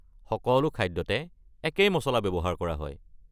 সকলো খাদ্যতে একেই মচলা ব্যৱহাৰ কৰা হয়।